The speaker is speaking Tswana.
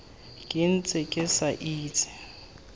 ke ntse ke sa itse